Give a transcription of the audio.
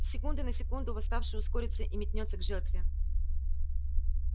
с секунды на секунду восставший ускорится и метнётся к жертве